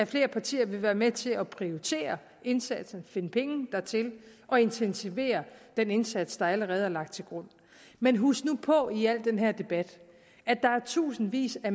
flere partier være med til at prioritere indsatsen finde penge dertil og intensivere den indsats der allerede er lagt til grund men husk nu på i al den her debat at der er tusindvis af